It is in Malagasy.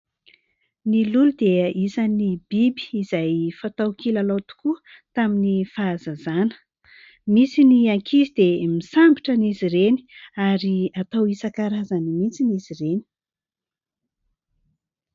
Ny lolo dia isany biby izay fatao kilalao tokoa tamin'ny fahazazana, misy ny ankizy dia misambotra any izy ireny ary atao isan-karazany mihitsiny izy ireny.